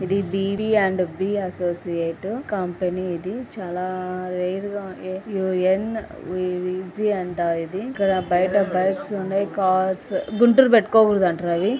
ఇది B D and _B associate company . ఇది చాలా రేర్ గా ఉండే యూ_ఎన్ అంట. ఇది ఇక్కడ బయట బైక్స్ ఉన్నాయి .కార్స్ గుండీలు పెట్టుకోకూడదంట రవి--